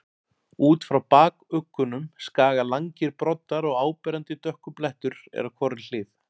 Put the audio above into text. Út frá bakuggunum skaga langir broddar og áberandi dökkur blettur er á hvorri hlið.